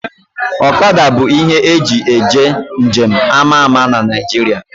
Ọkada bụ ihe eji eje nje m ama ama na Naijiria